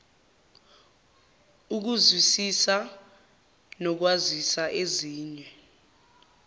ukuzwisisa nokwazisa ezinye